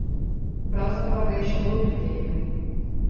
Pravzaprav ga je še bolj pritegnil.